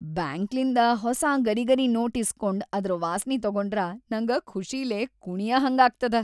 ಬ್ಯಾಂಕ್ಲಿಂದ ಹೊಸಾ ಗರಿಗರಿ ನೋಟ್‌ ಇಸ್ಕೊಂಡ್‌ ಅದ್ರ ವಾಸ್ನಿ ತೊಗೊಂಡ್ರ ನಂಗ ಖುಷಿಲೇ ಕುಣಿಯಹಂಗಾಗ್ತದ.